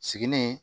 Sigini